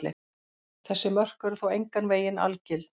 Þessi mörk eru þó engan veginn algild.